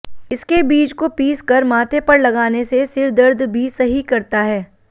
इसके बीज को पीस कर माथे पर लगाने से सिरदर्द भी सही करता है